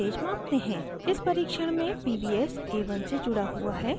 इस परीक्षण में pvs a1 से जुड़ा हुआ है